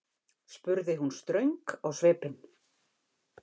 spurði hún ströng á svipinn.